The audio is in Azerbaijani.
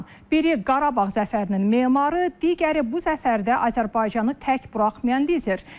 Biri Qarabağ zəfərinin memarı, digəri bu zəfərdə Azərbaycanı tək buraxmayan lider.